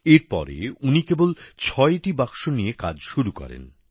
এরপরে উনি কেবল ছয়টি বাক্স নিয়ে কাজ শুরু করেন